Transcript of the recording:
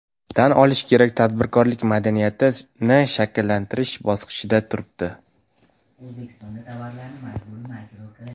Tan olish kerak, tadbirkorlik madaniyati shakllanish bosqichida turibdi.